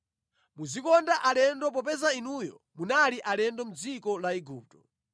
Muzikonda alendo popeza inuyo munali alendo mʼdziko la Igupto.